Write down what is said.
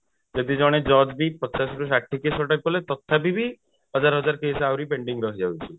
ଯଦି ଜଣେ judge ବି ପଚାଶ ରୁ ଷାଠିଏ case ଯଦି କଲେ ତଥାପି ବି ହଜାର ହଜାର case ଆହୁରି pending ରହି ଯାଉଛି